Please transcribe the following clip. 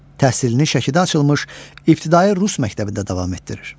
Təhsilini Şəkidə açılmış ibtidai rus məktəbində davam etdirir.